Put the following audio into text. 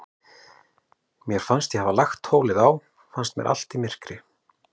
Þegar ég hafði lagt tólið á, fannst mér allt í myrkri.